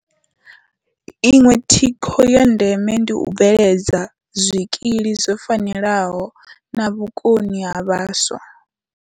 Iṅwe thikho ya ndeme ndi u bveledza zwikili zwo fanelaho na vhukoni ha vhaswa.